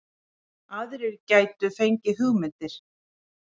Aðrir gætu fengið hugmyndir